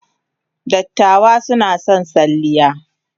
Dattawa suna son salliya.